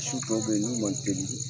Misi tɔw bɛ ye n'u man teli